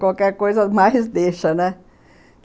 Qualquer coisa mais deixa, né?